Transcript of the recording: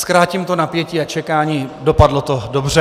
Zkrátím to napětí a čekání - dopadlo to dobře.